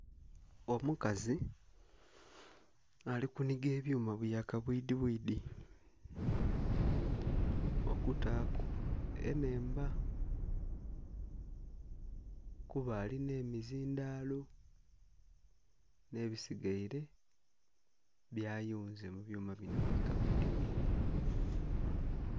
Omukazi alikuniga ebyuma bya kabwidhi bwidhi okutaku enhemba kuba alinha emizindhalo n'ebisigaire byayunze mubyuma bino bikabwidhi bwidhi.